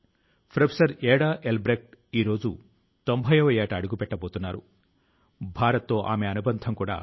కృత్రిమ మేధ AI internet సహాయం తో ఇది ప్రజల కు వారి ప్రాంతం లోని నీటి స్వచ్ఛత కు నాణ్యత కు సంబంధించిన సమాచారాన్ని అందిస్తుంది